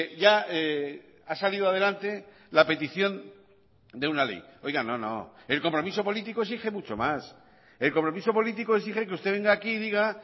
ya ha salido adelante la petición de una ley oiga no no el compromiso político exige mucho más el compromiso político exige que usted venga aquí y diga